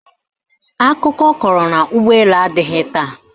Akụkọ kọrọ na ụgbọelu adịghị taa